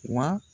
Wa